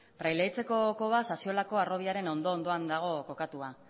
praileaitzeko koba sasiolako harrobiaren ondo ondoan dago kokatua